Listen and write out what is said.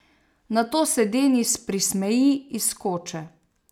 Nato se Denis prismeji iz koče!